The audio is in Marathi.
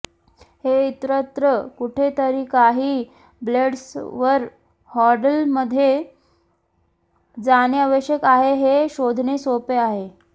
हे इतरत्र कुठेतरी काही ब्लेड्सवर हँडलमध्ये जाणे आवश्यक आहे हे शोधणे सोपे आहे